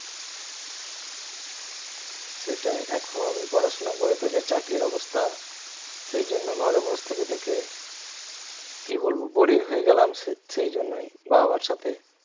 সেটাই এখন পড়াশোনা করে তো যে চাকরির অবস্থা সেজন্য ঘরে বস থেকে থেকে কি বলবো boring হয়ে গেলাম সে সেজন্যই বাবা মার সাথে